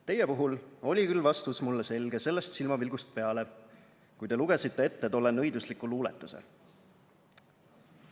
Teie puhul oli küll vastus mulle selge sellest silmapilgust peale, kui te lugesite ette tolle nõidusliku luuletuse...